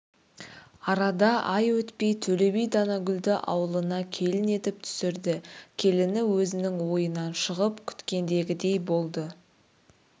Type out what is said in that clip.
арада ай өтпей төле би данагүлді ауылына келін етіп түсірді келіні өзінің ойынан шығып күткендегідей болды